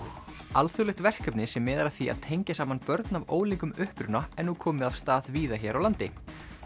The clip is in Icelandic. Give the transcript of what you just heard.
alþjóðlegt verkefni sem miðar að því að tengja saman börn af ólíkum uppruna er nú komið af stað víða hér á landi